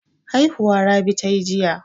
Haihuwa Rabi ta yi jiya.